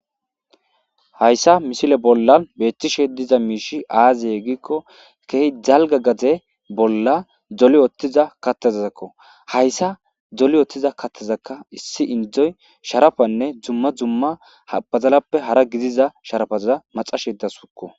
Hayssa misile bolla beettishe diza miishi aaziye gikko keehi jalga gaze bolla doli oottiza kattezazakko hayssa doli oothtiza kattezakka issi indzoy sharafanne dzumma dzumma habazalappe hara gidiza sharafazza maxashedasuukko.